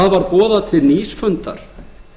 boðað var til nýs fundar